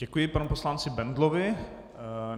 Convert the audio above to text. Děkuji panu poslanci Bendlovi.